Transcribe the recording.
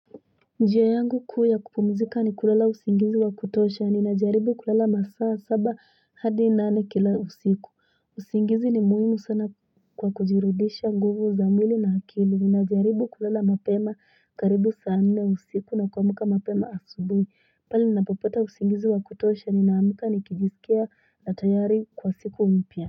Njia yangu kuu yakupumzika ni kulala usingizi wa kutosha ni na jaribu kulala masaa saba hadi nane kila usiku. Usingizi ni muhimu sana kwa kujirudisha nguvu za mwili na akili ni na jaribu kulala mapema karibu saa nne usiku na kuamka mapema asubui. Pale nina popota usingizi wa kutosha ni na amuka ni kijisikia na tayari kwa siku mpya.